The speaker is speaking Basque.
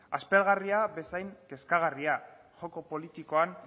aspergarria bezain kezkagarria joko politikoan